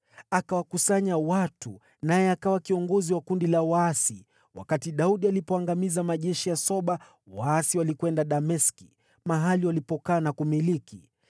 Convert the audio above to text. Akawakusanya watu, naye akawa kiongozi wa kundi la waasi, wakati Daudi alipoangamiza majeshi ya Soba; waasi walikwenda Dameski, mahali walipokaa na kumiliki.